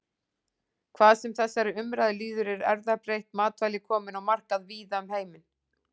Hvað sem þessari umræðu líður eru erfðabreytt matvæli komin á markað víða um heiminn.